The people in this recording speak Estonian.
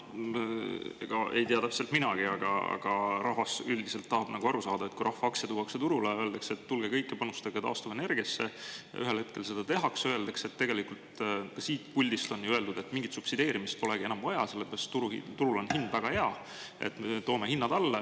Jaa, noh, ega ei tea täpselt minagi, aga rahvas üldiselt tahab nagu aru saada, et kui rahva aktsia tuuakse turule, öeldakse, et tulge kõik ja panustage taastuvenergiasse, ja ühel hetkel seda tehakse, öeldakse, et … tegelikult ka siit puldist on ju öeldud, et mingit subsideerimist polegi enam vaja, sellepärast turul on hind väga hea, toome hinnad alla.